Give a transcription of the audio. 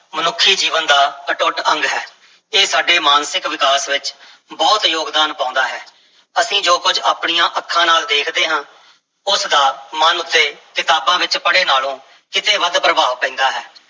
ਮਨੁੱਖੀ ਜੀਵਨ ਦਾ ਅਟੁੱਟ ਅੰਗ ਹੈ, ਇਹ ਸਾਡੇ ਮਾਨਸਿਕ ਵਿਕਾਸ ਵਿੱਚ ਬਹੁਤ ਯੋਗਦਾਨ ਪਾਉਂਦਾ ਹੈ, ਅਸੀਂ ਜੋ ਕੁਝ ਆਪਣੀਆਂ ਅੱਖਾਂ ਨਾਲ ਦੇਖਦੇ ਹਾਂ, ਉਸ ਦਾ ਮਨ ਉੱਤੇ ਕਿਤਾਬਾਂ ਵਿੱਚ ਪੜ੍ਹੇ ਨਾਲੋਂ ਕਿਤੇ ਵੱਧ ਪ੍ਰਭਾਵ ਪੈਂਦਾ ਹੈ।